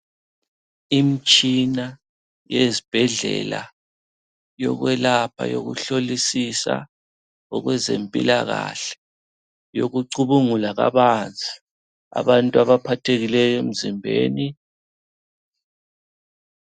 Imitshina yezibhedlela eyokwelapha yokuhlolisisa okwezempilakahle yokucubungula kabanzi abantu abaphathekileyo emzimbeni.